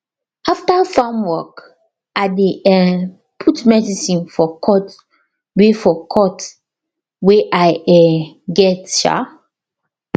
after farm work i dey um put medicine for cut wey for cut wey i um get um